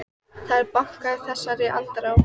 Það er bankað í þessari andrá.